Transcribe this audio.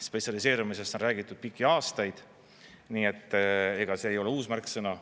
Spetsialiseerumisest on räägitud pikki aastaid, nii et ega see ei ole uus märksõna.